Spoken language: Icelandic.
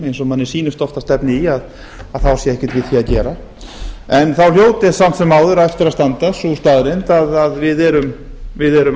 eins og manni sýnist oft að stefni í þá sé ekkert við því að gera en þá hljóti samt sem áður eftir að standa sú staðreynd að við erum